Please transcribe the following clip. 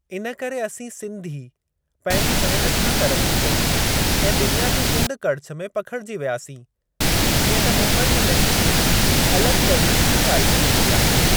इन करे असीं सिंधी पंहिंजी महिनत सां तरक़्क़ी कई ऐं दुनिया जे कुंड कड़िछ में पखिड़िजी वियासीं जीअं त मुम्बईअ में सिंधी अलगि॒ तरीक़े सां ॻाल्हाई वेंदी आहे।